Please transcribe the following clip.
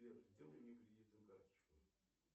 сбер сделай мне кредитную карточку